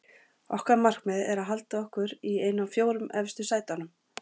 Okkar markmið er að halda okkur í einu af fjórum efstu sætunum.